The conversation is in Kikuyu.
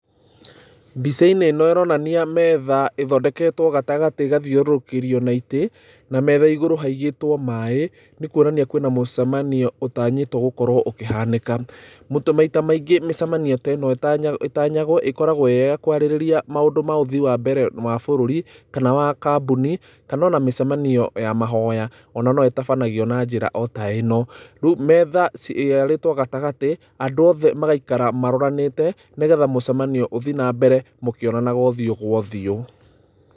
Mbica-inĩ ĩno ĩronania metha ĩthondeketwo gatagatĩ ĩgathiũrũrũkĩrio na itĩ, na metha igũrũ haigĩtwo maaĩ, nĩ kuonania kwĩna mũcemano ũtanyĩtwo gũkorwo ũkĩhanĩka. Mũtu, maita maingĩ mĩcemanio teno ĩtanya, ĩtanyagwo ĩrĩ ya kwarĩrĩria maũndũ ma ũthii wa mbere wa bũrũri, kana wa kambuni, kana ona mĩcemanio ya mahoya onayo no ĩtabanagio na njĩra ota ĩno. Rĩu metha cii, yarĩtwo gatagatĩ andũ othe magaikara maroranĩte, nĩgetha mũcemanio ũthiĩ na mbere mũkĩonanaga ũthiũ gwa ũthiũ.